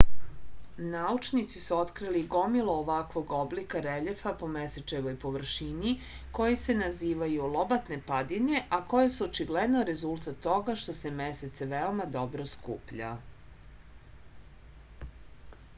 naučnici su otkrili gomilu ovakvog oblika reljefa po mesečevoj površini koji se nazivaju lobatne padine a koje su očigledno rezultat toga što se mesec veoma sporo skuplja